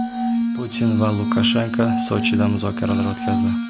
Putin va Lukashenko Sochida muzokaralar o‘tkazdi.